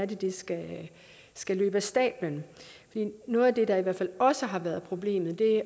det skal skal løbe af stabelen noget af det der i hvert fald også har været problemet